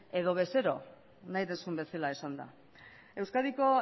edo bezero nahi duzun bezala esanda euskadiko